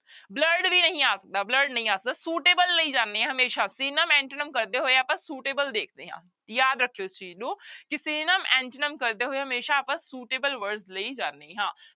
Blurred ਵੀ ਨਹੀਂ ਆ ਸਕਦਾ blurred ਨਹੀਂ ਆ ਸਕਦਾ suitable ਲਈ ਜਾਨੇ ਆਂ ਹਮੇਸ਼ਾ synonym, antonym ਕਰਦੇ ਹੋਏ ਆਪਾਂ suitable ਦੇਖਦੇ ਹਾਂ, ਯਾਦ ਰੱਖਿਓ ਇਸ ਚੀਜ਼ ਨੂੰ ਕਿ synonym, antonym ਕਰਦੇ ਹੋਏ ਹਮੇਸ਼ਾ ਆਪਾਂ suitable words ਲਈ ਜਾਨੇ ਹਾਂ